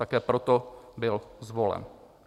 Také proto byl zvolen.